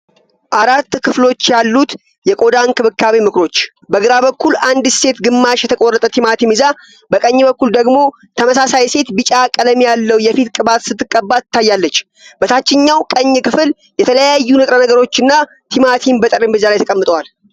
አራት ክፍሎች ያሉት የቆዳ እንክብካቤ ምክሮች። በግራ በኩል አንዲት ሴት ግማሽ የተቆረጠ ቲማቲም ይዛ። በቀኝ በኩል ደግሞ ተመሳሳይ ሴት ቢጫ ቀለም ያለው የፊት ቅባት ስትቀባ ትታያለች። በታችኛው ቀኝ ክፍል የተለያዩ ንጥረ ነገሮችናቲማቲም በጠረጴዛ ላይ ተቀምጠዋል።